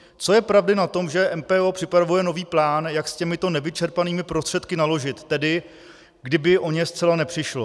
Co je pravdy na tom, že MPO připravuje nový plán, jak s těmito nevyčerpanými prostředky naložit, tedy kdyby o ně zcela nepřišlo?